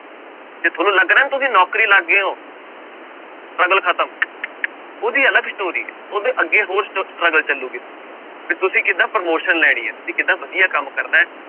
ਜੇ ਤੁਹਾਨੂੰ ਲੱਗ ਰਿਹਾ ਨਾ ਤੁਸੀਂ ਨੌਕਰੀ ਲੱਗ ਗਏ ਹੋ struggle ਖ਼ਤਮ ਉਹਦੀ ਅਲੱਗ story ਹੈ ਉਹਦੇ ਅੱਗੇ ਹੋਰ ਸਟ struggle ਚੱਲੇਗੀ ਵੀ ਤੁਸੀਂ ਕਿੱਦਾਂ promotion ਲੈਣੀ ਹੈ ਤੁਸੀਂ ਕਿੱਦਾਂ ਵਧੀਆ ਕੰਮ ਕਰਨਾ ਹੈ।